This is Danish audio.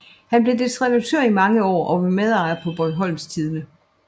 Han blev dets redaktør i mange år og var medarbejder på Bornholms Tidende